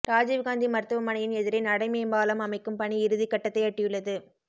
ராஜிவ் காந்தி மருத்துவமனையின் எதிரே நடைமேம்பாலம் அமைக்கும் பணி இறுதி கட்டத்தை எட்டியுள்ளது